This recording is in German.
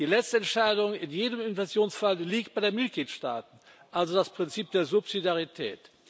Die letzte Entscheidung in jedem Investitionsfall liegt bei den Mitgliedstaaten, also das Prinzip der Subsidiarität.